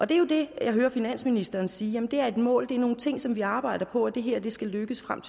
det er jo det jeg hører finansministeren sige det er et mål det er nogle ting som vi arbejder på og det her skal lykkes frem